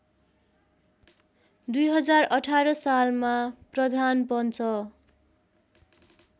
२०१८ सालमा प्रधानपञ्च